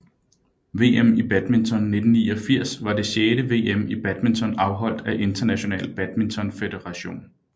VM i badminton 1989 var det sjette VM i badminton afholdt af International Badminton Federation